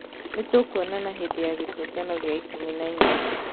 Nĩ tũkuonana hĩndĩ ya gĩtũngano gĩa 18!